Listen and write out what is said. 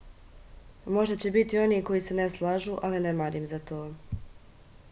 možda će biti onih koji se ne slažu ali ne marim za to